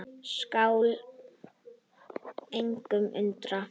Skal engan undra.